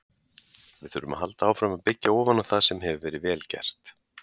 Við þurfum að halda áfram að byggja ofan á það sem hefur verið vel gert,